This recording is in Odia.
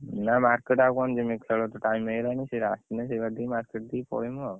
ନା market ଆଉ କଣ ଜିମି ଖେଳ ତ time ହେଇଗଲାଣି ସିଏ ଆସିଲେ ସେଇବାଟ ଦେଇ market ଦେଇ ପଳେଇମି ଆଉ